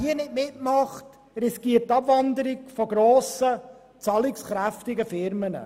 Wer nicht mitmacht, riskiert die Abwanderung von grossen, zahlungskräftigen Unternehmen.